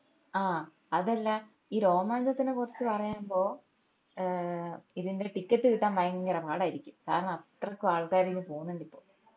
ആഹ് അതെല്ലാ ഈ രോമാഞ്ചത്തിനെ കുറിച്ച പറയുമ്പോ ഏർ ഇതിന്റെ ticket കിട്ടാൻ ഭയങ്കര പാടാരിക്കും കാരണം അത്രക്കും ആള്ക്കാര് പോന്നിണ്ട് ഇപ്പൊ